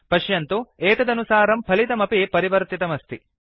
पश्यन्तु एतदनुसारं फलितमपि परिवर्तितमस्ति